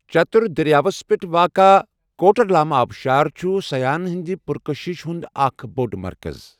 چتر دٔریاوَس پٮ۪ٹھ واقعہ کوٹرلام آبشار چھُ سَیاحَن ہٕنٛدِ پُرکٔشش ہُنٛد اکھ بوٚڑ مرکَز۔